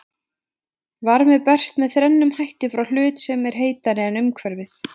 Varmi berst með þrennum hætti frá hlut sem er heitari en umhverfið.